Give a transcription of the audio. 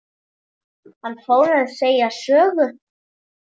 Hann fór að segja sögu.